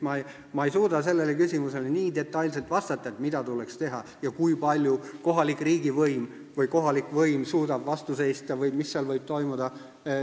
Ma ei suuda sellele küsimusele nii detailselt vastata ega öelda, mida täpselt tuleks teha, kui palju suudab kohalik võim millelegi vastu seista või mis võib toimuda.